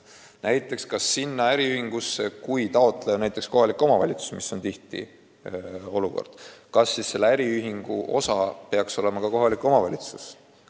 Ja kui toetuse taotleja on näiteks kohalik omavalitsus, kas siis selle äriühingu osaline peaks olema ka kohalik omavalitsus?